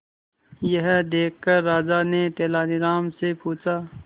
यह देखकर राजा ने तेनालीराम से पूछा